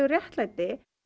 réttlæti